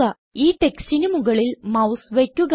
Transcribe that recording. ഈ ടെക്സ്റ്റിന് മുകളിൽ മൌസ് വയ്ക്കുക